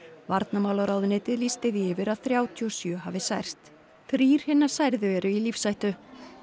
varnarmálaráðuneytið lýsti því yfir að þrjátíu og sjö hafi særst þrír hinna særðu eru í lífshættu